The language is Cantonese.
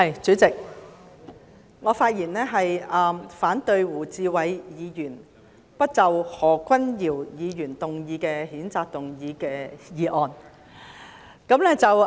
主席，我發言反對由胡志偉議員提出"不得就何君堯議員動議的譴責議案再採取任何行動"的議案。